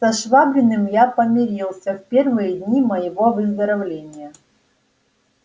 со швабриным я помирился в первые дни моего выздоровления